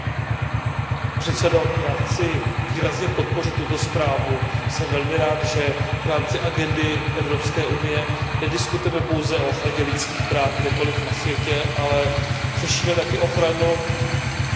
Pane předsedající, já chci výrazně podpořit tuto zprávu, jsem velmi rád, že v rámci agendy Evropské unie nediskutujeme pouze o ochraně lidských práv kdekoliv na světě, ale řešíme taky ochranu